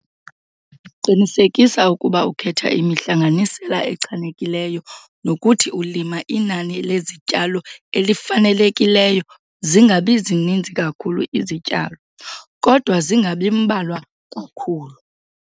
Qinisekisa ukuba ukhetha imihlanganisela echanekileyo nokuthi ulima inani lezityalo elifanelekileyo - zingabi zininzi kakhulu izityalo, kodwa zingabi mbalwa kakhulu.